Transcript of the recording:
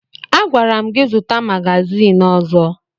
Agwara m gị zụta magazin ọzọ!